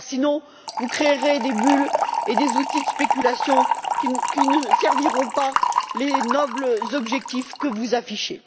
sinon vous créerez des bulles et des outils de spéculation qui ne serviront pas les nobles objectifs que vous affichez.